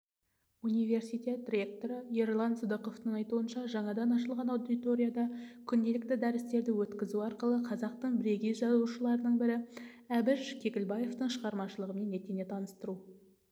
университет ректоры ерлан сыдықовтың айтуынша жаңадан ашылған аудиторияда күнделікті дәрістерді өткізу арқылы қазақтың бірегей жазушыларының бірі әбіш кекілбаевтың шығармашылығымен етене таныстыру